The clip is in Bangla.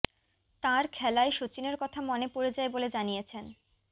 তাঁর খেলায় সচিনের কথা মনে পড়ে যায় বলে জানিয়েছেন